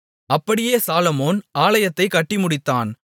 அப்படியே சாலொமோன் ஆலயத்தைக் கட்டி முடித்தான்